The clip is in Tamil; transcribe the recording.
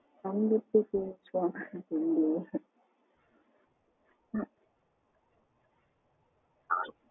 அவங்க கிட்ட அவங்க எப்டி பெசுவங்கனு தெரியலையே